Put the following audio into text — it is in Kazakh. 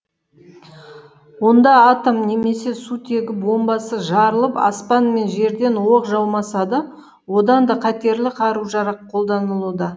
онда атом немесе сутегі бомбасы жарылып аспан мен жерден оқ жаумаса да одан да қатерлі қару жарақ қолданылуда